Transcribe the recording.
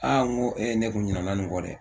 n ko ne kun ɲina nin kɔ dɛ,